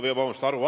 Aitäh!